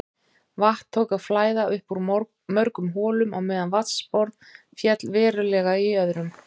Vatn tók að flæða upp úr mörgum holum á meðan vatnsborð féll verulega í öðrum.